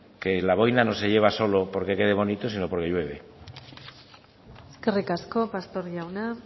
que la boina no se lleva solo porque quede bonito sino porque llueve eskerrik asko pastor jauna